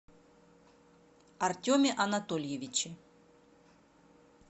артеме анатольевиче